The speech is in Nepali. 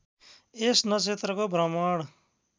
यस नक्षत्रको भ्रमण